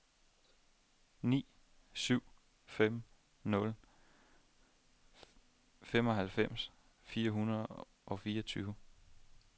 ni syv fem nul femoghalvfems fire hundrede og fireogtyve